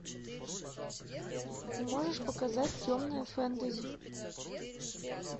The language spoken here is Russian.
ты можешь показать темное фэнтези